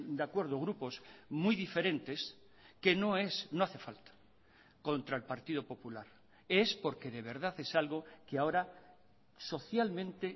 de acuerdo grupos muy diferentes que no es no hace falta contra el partido popular es porque de verdad es algo que ahora socialmente